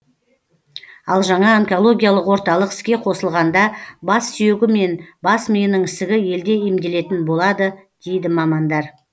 ал жаңа онкологиялық орталық іске қосылғанда бас сүйегі мен бас миының ісігі елде емделетін болады дейді мамандар